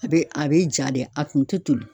A bɛ a bɛ ja de a kun tɛ toli.